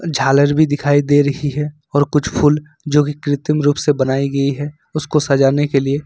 झालर भी दिखाई दे रही है और कुछ फूल जोकि कृत्रिम रूप से बनाई गई है उसको सजाने के लिए।